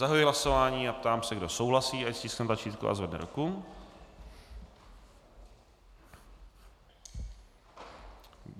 Zahajuji hlasování a ptám se, kdo souhlasí, ať stiskne tlačítko a zvedne ruku.